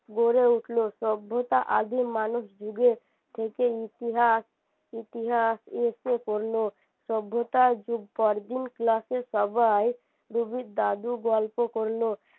গড়ে উঠলো সভ্যতা আদিম মানুষ যুগে থেকেই ইতিহাস ইতিহাস করলো সভ্যতার যুগ পরদিন class এর সবাই রুবির দাদু গল্প করলো